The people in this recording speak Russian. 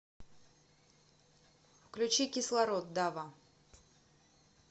включи кислород дава